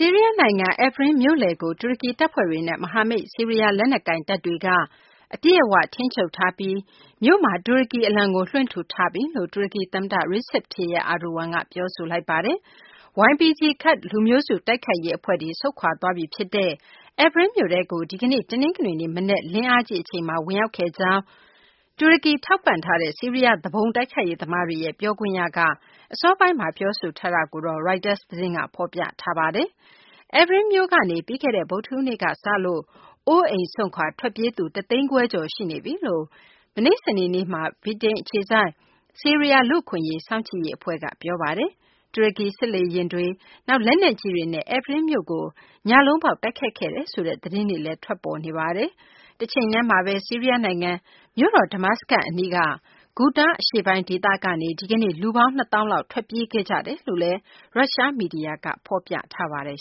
ီးရီးယား နိုင်ငံ Afrin မြို့လယ်ကို တူရကီ တပ်ဖွဲ့တွေနဲ့ မဟာမိတ် ဆီးရီးယား လက်နက်ကိုင်တပ်တွေက အပြည့်အ၀ ထိန်းချုပ်ထားပြီး မြို့မှာ တူရကီ အလံကို လွှင့်ထူထားပြီလို့ တူရကီ သမ္မတ Recep Tayyip Erdogan က ပြောဆိုလိုက်ပါတယ်။ YPG ကာဒ်လူမျိုးစု တိုက်ခိုက်ရေး အဖွဲ့တွေ ဆုတ်ခွာသွားပြီ ဖြစ်တဲ့ Afrin မြို့ထဲကို ဒီကနေ့ တနင်္ဂနွေနေ့ မနက် လင်းအားကြီး အချိန်မှာ ဝင်ရောက်ခဲ့ကြောင်း တူရကီ ထောက်ပံ့ထားတဲ့ ဆီးရီးယား သူပုန် တိုက်ခိုက်ရေးသမားတွေရဲ့ ပြောခွင့်ရ အစောပိုင်းမှာ ပြောဆိုချက်ကို Reuters သတင်းက ဖော်ပြပါတယ်။ Afrin မြို့ကနေ ပြီးခဲ့တဲ့ ဗုဒ္ဓဟူးနေ့ကစလို့ အိုးအိမ်စွန့်ခွာ ထွက်ပြေးသူ ၁ သိန်းခွဲကျော်ရှိနေပြီလို့ မနေ့ စနေနေ့က ဗြိတိန် အခြေစိုက် ဆီးရီးယား လူ့အခွင့်အရေး စောင့်ကြည့်ရေး အဖွဲ့က ပြောပါတယ်။ တူရကီ စစ်လေယာဉ်တွေ၊ နောက် လက်နက်ကြီးတွေနဲ့ Afrin မြို့ကို ညလုံးပေါက် တိုက်ခိုက်ခဲ့တယ်ဆိုတဲ့ သတင်းတွေလည်း ထွက်ပေါ်နေပါတယ်။ တချိန်တည်းမှာဘဲ ဆီးရီးယား နိုင်ငံ မြို့တော် Damascus အနီး Ghouta အရှေ့ပိုင်း ဒေသကနေ ဒီကနေ့ လူပေါင်း ၂ သောင်းလောက် ထွက်ပြေးခဲ့ကြကြောင်း ရုရှား မီဒီယာကနေ ဖော်ပြပါတယ်